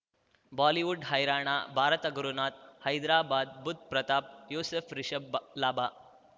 Bollywood ಹೈರಾಣ ಭಾರತ ಗುರುನಾಥ್ ಹೈದ್ರಾಬಾದ್ ಬುಧ್ ಪ್ರತಾಪ್ ಯೂಸುಫ್ ರಿಷಬ್ ಲಾಭ